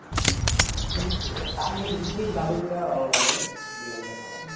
এমনি Tamil, Hindi dubbing টা ভালো লাগে ওগুলোই দেখা হয়।